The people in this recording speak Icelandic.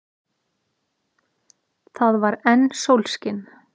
Það var enn sólskin.